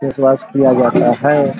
Face wash किया जाता है।